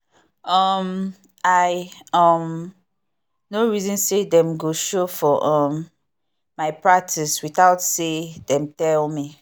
um i um no reason say dem go show for um my practice without say dem tell me